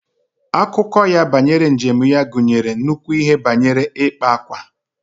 Akụkọ ya banyere njem ya gụnyere nnukwu ihe banyere ikpa ákwà